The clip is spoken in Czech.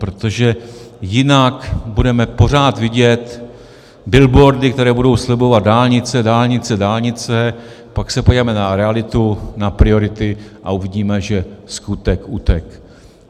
Protože jinak budeme pořád vidět billboardy, které budou slibovat dálnice, dálnice, dálnice, pak se podíváme na realitu, na priority, a uvidíme, že skutek utek.